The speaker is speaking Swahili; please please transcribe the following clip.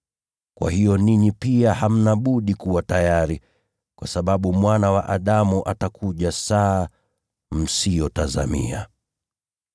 Kwa hiyo ninyi pia hamna budi kuwa tayari, kwa sababu Mwana wa Adamu atakuja saa msiyotazamia.